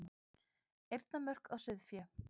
Eyrnamörk á sauðfé.